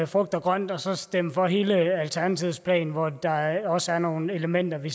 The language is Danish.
frugt og grønt og så stemme for hele alternativets plan hvori der også er nogle elementer vi